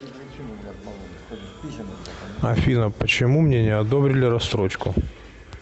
афина почему мне не одобрили рассрочку